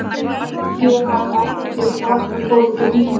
Hvaða hérað afhenti Frakkakonungur Víkingum til yfirráða?